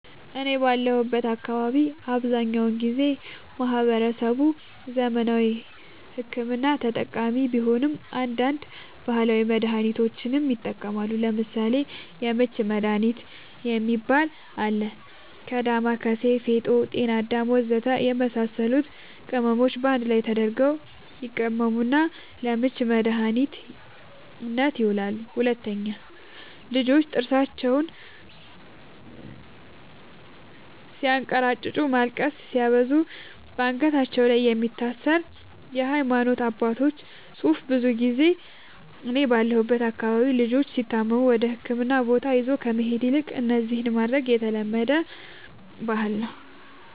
እኔ ባለሁበት አካባቢ አብዛኛውን ጊዜ ማህበረሰቡ ዘመናዊ ሕክምና ተጠቃሚ ቢሆንም አንዳንድ ባህላዊ መድሃኒቶችንም ይጠቀማሉ ለምሳሌ:- የምች መድሃኒት የሚባል አለ ከ ዳማከሲ ፌጦ ጤናአዳም ወዘተ የመሳሰሉት ቅመሞች ባንድ ላይ ተደርገው ይቀመሙና ለምች መድኃኒትነት ይውላሉ 2, ልጆች ጥርሳቸውን ስያንከራጭጩ ማልቀስ ሲያበዙ ባንገታቸው ላይ የሚታሰር የሃይማኖት አባቶች ፅሁፍ ብዙ ጊዜ እኔ ባለሁበት አካባቢ ልጆች ሲታመሙ ወደህክምና ቦታ ይዞ ከመሄድ ይልቅ እነዚህን ማድረግ የተለመደ ባህል ነዉ